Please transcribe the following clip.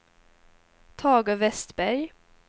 Tage Westberg